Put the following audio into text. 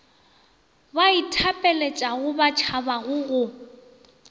ba ithapeletšago ba tšhabago go